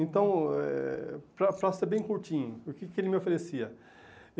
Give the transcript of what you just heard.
Então, eh para para ser bem curtinho, o que que ele me oferecia?